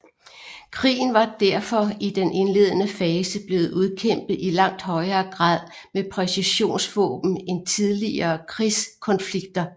Krigen var derfor i den indledende fase blevet udkæmpet i langt højere grad med præcisionsvåben end tidligere krigskonflikter